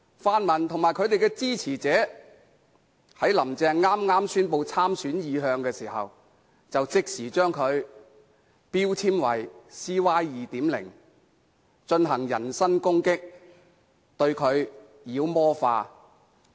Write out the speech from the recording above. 泛民與其支持者在"林鄭"剛宣布參選意向時，即時把她標籤為 "CY 2.0"， 進行人身攻擊，把她妖魔化。